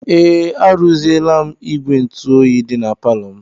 Ee, arụziela m ígwè ntụoyi dị na palọ m.